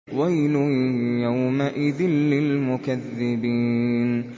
وَيْلٌ يَوْمَئِذٍ لِّلْمُكَذِّبِينَ